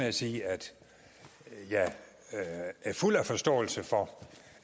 at sige at jeg er fuld af forståelse for